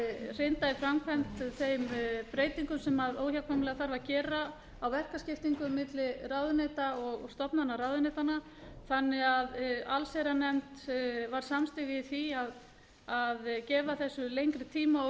hrinda í framkvæmd þeim breytingum sem óhjákvæmilega þarf að gera á verkaskiptingu milli ráðuneyta og stofnana ráðuneytanna þannig að allsherjarnefnd var samtaka í því að gefa þessu lengri tíma og